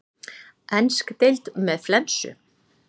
Ensk deild með flensu?